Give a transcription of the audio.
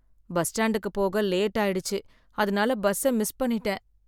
bus ஸ்டாண்டுக்கு போக late ஆயிடுச்சு, அதனால பஸ்ஸ மிஸ் பண்ணிட்டேன்